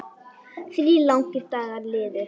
Þrír langir dagar liðu.